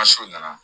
nana